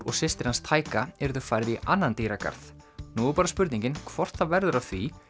og systir hans yrðu færð í annan dýragarð nú er bara spurning hvort það verður af því